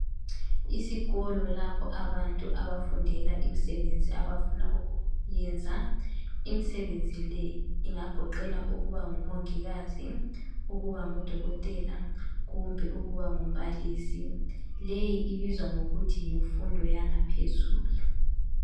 Isikolo lapho abantu abafundela imisebenzi abafuna ukuyenza. Imisebenzi le, ingagoqela ukuba ngumongikazi, ukuba ngudokotela kumbe ukuba ngumbalisi. Le ibizwa ngokuthi yimfundo yangaphezulu.